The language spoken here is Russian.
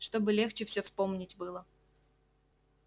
чтобы легче всё вспомнить было